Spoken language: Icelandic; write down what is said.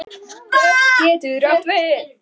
Dögg getur átt við